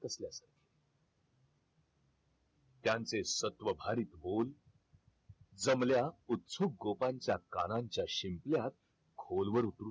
त्यांचे सत्व भरीत होऊन जमल्या उत्सुक गोपांच्या कानांच्या शिंपल्यात खोलवर